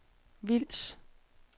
Vils